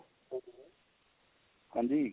ਹਾਂਜੀ